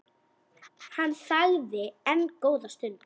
Hann þagði enn góða stund.